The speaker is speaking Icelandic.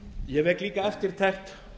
ég vek líka eftirtekt